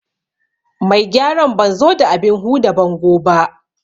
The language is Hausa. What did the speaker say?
Mai gyaran ban zo da abin huda bango ba